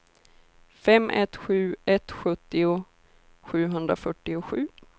fem ett sju ett sjuttio sjuhundrafyrtiosju